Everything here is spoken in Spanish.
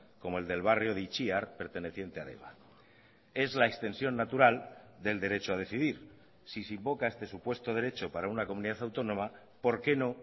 como el del barrio de itziar perteneciente a deba es la extensión natural del derecho a decidir si se invoca este supuesto derecho para una comunidad autónoma por qué no